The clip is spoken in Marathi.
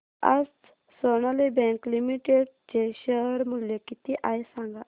आज सोनाली बँक लिमिटेड चे शेअर मूल्य किती आहे सांगा